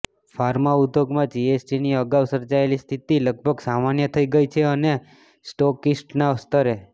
pharma ઉદ્યોગમાં જીએસટીની અગાઉ સર્જાયેલી સ્થિતિ લગભગ સામાન્ય થઈ ગઈ છે અને સ્ટોકિસ્ટના સ્તરે